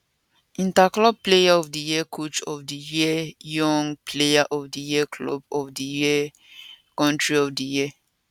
interclub player of di year coach of di year young player of di year club of di year country of di year